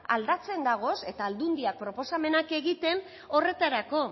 aldatzen daude eta aldundiek proposamenak egiten horretarako